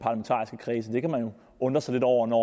undre sig lidt over når